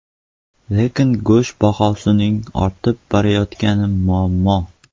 Lekin go‘sht bahosining ortib borayotgani muammo.